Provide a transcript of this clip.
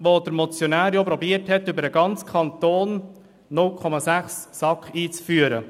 Mit dieser versuchte der Motionär, über den gesamten Kanton 0,6 SAK einzuführen.